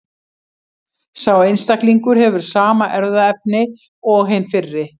Sá einstaklingur hefur sama erfðaefni og hinn fyrri.